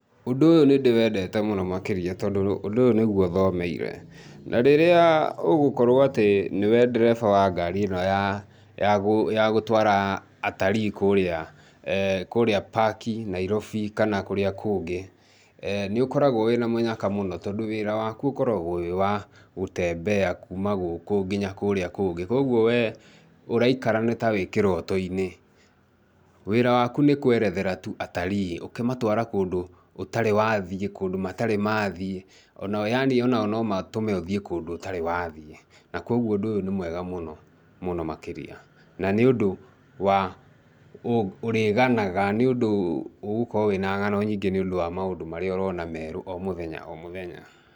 Ũndũ ũyũ nĩ ndĩwendete mũno makĩrĩa tondũ ũndũ ũyũ nĩgwo thomeire. Na rĩrĩa ũgũkorwo atĩ nĩ we ndereba wa ngari ĩno ya ya gũtwara atari kũrĩa Kũrĩa park Nairobi kana kũrĩa kũngĩ, nĩ ũkoragwo wĩ na mũnyaka mũno tondũ wĩra waku ũkoragwo wĩ wa gũ tembea kuuma gũkũ nginya kũrĩa kũngĩ. Kogwo we ũraikara nĩ ta ũrĩ kĩroto-inĩ. Wĩra waku nĩ kũerethera tu atarii ũkĩmatwara kũndũ ũtarĩ wathiĩ, kũndũ matarĩ mathiĩ o na o yaani no matũme ũthiĩ kũndũ o na ũtarĩ wathiĩ kogwo ũndũ ũyũ ni mwega mũno, mũno mũno makĩria. Na nĩ undũ wa ũrĩganaga, nĩ ũndũ ũgũkorwo wĩ na ng'ano nyĩngi nĩ ũndũ wa maũndũ marĩa ũrona merũ o mũthenya o mũthenya.